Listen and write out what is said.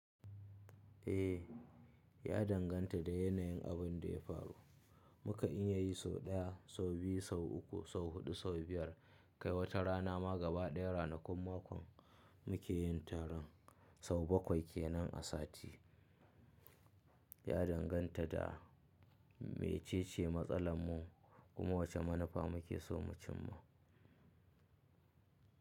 Eh, ya danganta da yanayin abun da ya faru. Mu ka iya yi sau ɗaya, sau biyu, sau uku, sau huɗu, sau biyar, kai wata rana ma gaba ɗaya ranakun makon, mu ke yin taron, sau bakwai ke nan a sati. Ya danganta da, mece ce matsalar mu, kuma wace manufa mu ke so mu cimma.